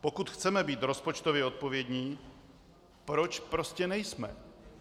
Pokud chceme být rozpočtově odpovědní, proč prostě nejsme?